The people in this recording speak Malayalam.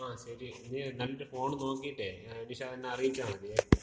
ങ്ങാ ശരി. നീ നല്ലൊരു ഫോൺ നോക്കീട്ടേ നിഷാദ് എന്ന അറിയിച്ചാ മതിയേ.